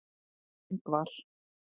Ingvar